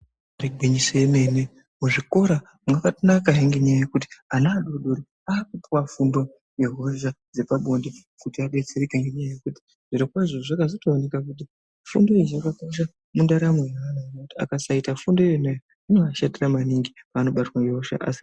Igwinyiso yemene muzvikora mwakatonakahe ngenyaya yokuti ana adoodori akupuwa fundo yehosha dzepabonde kuti adetsereke ngenyaya yekuti zviro kwazvo zvakatozooneka kuti fundo iyoyo yakakosha mundaramo yevantu ngekuti vakasaita fundo yona iyoyo zvinovashatira maningi pavanobatwa nehosha asi.